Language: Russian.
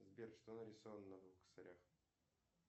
сбер что нарисовано на двух косарях